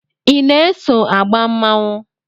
I na-eso agba mmanwụ?